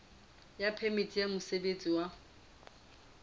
ya phemiti ya mosebetsi ya